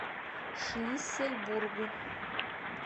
шлиссельбургу